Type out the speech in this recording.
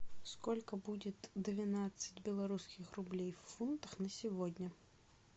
сколько будет двенадцать белорусских рублей в фунтах на сегодня